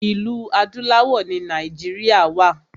Ilẹ̀ adúláwọ̀ ni Nàìjíríà wa.